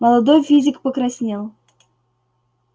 молодой физик покраснел